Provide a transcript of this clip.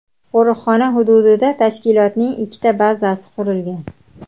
Qo‘riqxona hududida tashkilotning ikkita bazasi qurilgan.